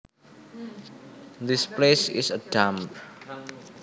This place is a dump